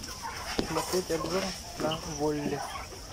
смотреть обзор на волли